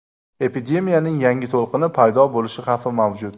Epidemiyaning yangi to‘lqini paydo bo‘lishi xavfi mavjud.